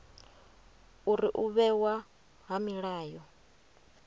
uri u vhewa ha milayo